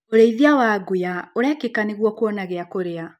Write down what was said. ũrĩithia wa nguya ũrekĩka nĩguo kuona giakũria.